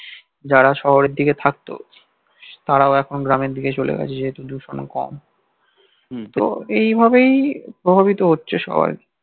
যারা শহরের দিকে থাকতো তারাও এখন গ্রামের দিকে চলে গেছে যে হেতু দূষণ কম তো এই ভাবেই প্রভাবিত হচ্ছে সবাই